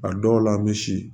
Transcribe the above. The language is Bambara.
A dɔw la an bɛ si